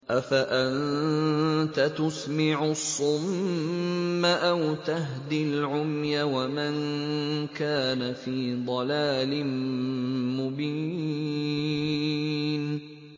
أَفَأَنتَ تُسْمِعُ الصُّمَّ أَوْ تَهْدِي الْعُمْيَ وَمَن كَانَ فِي ضَلَالٍ مُّبِينٍ